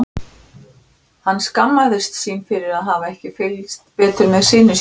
Hann skammaðist sín fyrir að hafa ekki fylgst betur með syni sínum.